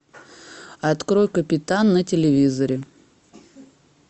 открой капитан на телевизоре